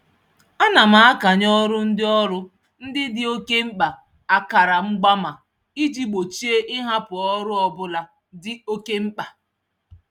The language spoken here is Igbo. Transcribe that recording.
Ana m akanye ọrụ ndị ọrụ ndị dị oke mkpa akara mgbaama iji gbochie ịhapụ ọrụ ọbụla dị oke mkpa.